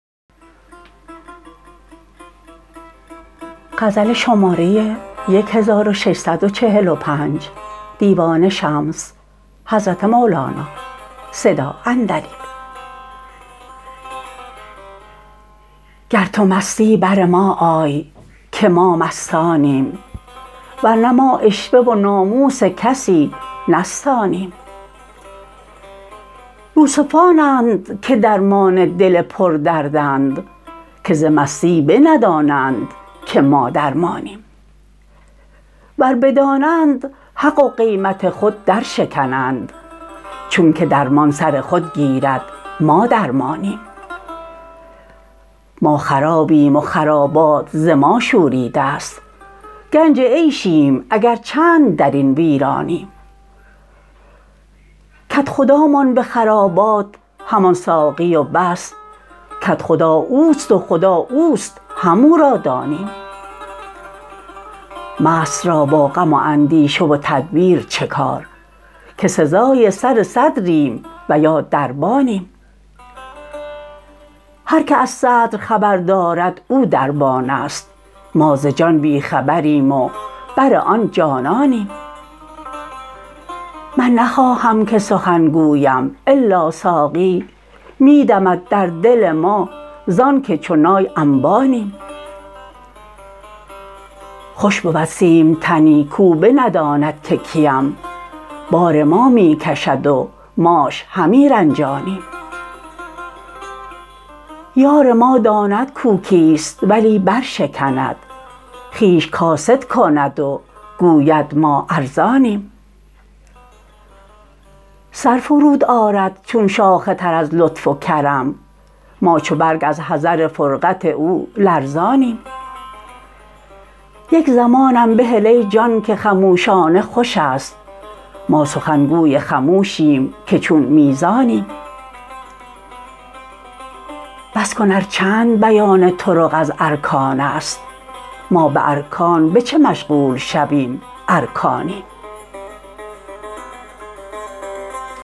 گر تو مستی بر ما آی که ما مستانیم ور نه ما عشوه و ناموس کسی نستانیم یوسفانند که درمان دل پردردند که ز مستی بندانند که ما درمانیم ور بدانند حق و قیمت خود درشکنند چونک درمان سر خود گیرد ما درمانیم ما خرابیم و خرابات ز ما شوریده ست گنج عیشیم اگر چند در این ویرانیم کدخدامان به خرابات همان ساقی و بس کدخدا اوست و خدا اوست همو را دانیم مست را با غم و اندیشه و تدبیر چه کار که سزای سر صدریم و یا دربانیم هر کی از صدر خبر دارد او دربان است ما ز جان بی خبریم و بر آن جانانیم من نخواهم که سخن گویم الا ساقی می دمد در دل ما زانک چو نای انبانیم خوش بود سیمتنی کو بنداند که کییم بار ما می کشد و ماش همی رنجانیم یار ما داند کو کیست ولی برشکند خویش کاسد کند و گوید ما ارزانیم سر فرود آرد چون شاخ تر از لطف و کرم ما چو برگ از حذر فرقت او لرزانیم یک زمانم بهل ای جان که خموشانه خوش است ما سخن گوی خموشیم که چون میزانیم بس کن ار چند بیان طرق از ارکان است ما به ارکان به چه مشغول شویم ار کانیم